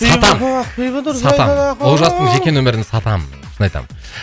сатамын сатамын олжастың жеке нөмірін сатамын шын айтамын